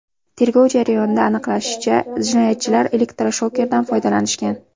Tergov jarayonida aniqlanishicha, jinoyatchilar elektroshokerdan foydalanishgan.